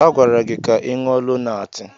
A gwara gị ka ị ṅụọ Lonaatị!